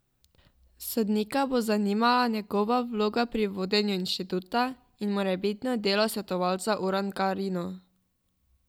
Sodnika bo zanimala njegova vloga pri vodenju inštituta in morebitno delo svetovalca Urdangarinu.